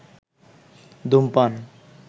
ধুমপান